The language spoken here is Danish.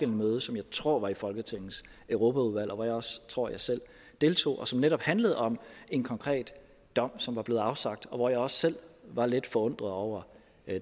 møde som jeg tror var i folketingets europaudvalg hvor jeg også tror jeg selv deltog og som netop handlede om en konkret dom som var blevet afsagt og hvor jeg også selv var lidt forundret over